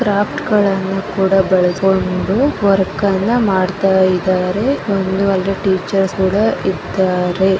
Craft ಗಳನ್ನೂ ಕೂಡ ಬಾಲಸ್ಕೊಂಡು ವರ್ಕ್ ಮಾಡ್ತಾ ಇದಾರೆ ಒಂದು ಅಲ್ಲಿ ಟೀಚರ್ ಕುಡ ಇದ್ದಾರೆ.